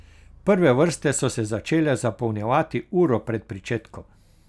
Prve vrste so se začele zapolnjevati uro pred pričetkom.